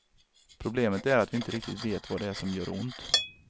Problemet är att vi inte riktigt vet vad det är som gör ont.